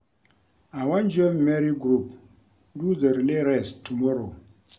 I wan join Mary group do the relay race tomorrow